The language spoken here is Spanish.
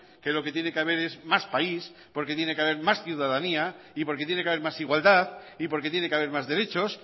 que lo que tiene que haber es más país porque tiene que haber más ciudadanía y porque tiene que haber más igualdad y porque tiene que haber más derechos